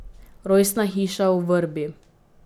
Rojstna hiša v Vrbi.